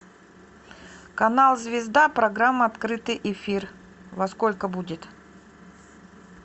канал звезда программа открытый эфир во сколько будет